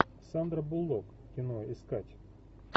сандра буллок кино искать